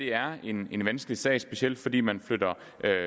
er en vanskelig sag specielt fordi man flytter